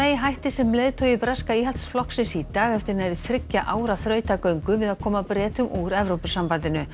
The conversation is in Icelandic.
hætti sem leiðtogi breska Íhaldsflokksins í dag eftir nærri þriggja ára þrautagöngu við að koma Bretum úr Evrópusambandinu